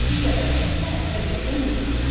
Digərləri isə təbiətdə mövcuddur.